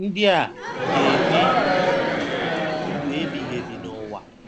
Ndị a ga-enwe ndụ ebighị ebi n’ụwa.